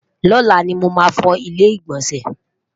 lọla ní mọ má fọ ilé igbọnsẹ?